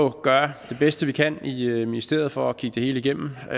at gøre det bedste vi kan i ministeriet for at kigge det hele igennem og